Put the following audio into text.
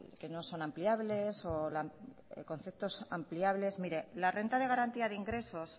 que no son ampliables conceptos ampliables mire la renta de garantía de ingresos